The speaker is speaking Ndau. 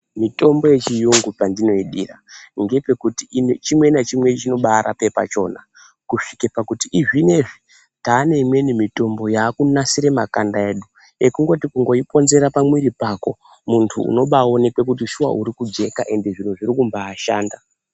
Mitombo yechirungu pandinoidira ndepekuti chimwe nachimwe chinobarapa pachona kusvika pakuti zvinezvi tane imweni mitombo yakunasira makanda edu ekungoti kuponzera pamwiri pako muntu unobaonekwa kuti shuwa uri kujeka ende zviro zviri kubashanda.